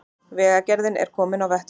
Vegagerðin er komin á vettvang